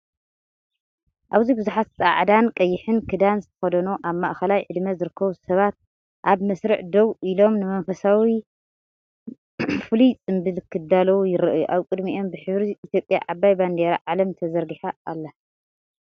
ኣብዚ ብዙሓት ጻዕዳን ቀይሕን ክዳን ዝተኸድኑ ኣብ ማእከላይ ዕድመ ዝርከቡ ሰባት፡ ኣብ መስርዕ ደው ኢሎም፡ ንመንፈሳዊ መ ፍሉይ ጽምብል ክዳለዉ ይረኣዩ። ኣብ ቅድሚኦም ብሕብሪ ኢትዮጵያ ዓባይ ባንዴራ ዓለም ተዘርጊሓ ኣላ።